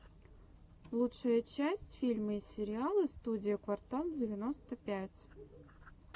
лучшая часть фильмы и сериалы студии квартал девяносто пять